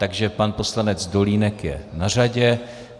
Takže pan poslanec Dolínek je na řadě.